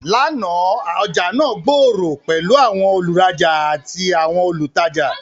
Làná, ọjà náà gbòòrò pẹ̀lú àwọn olùrajà àti àwọn olùtajà.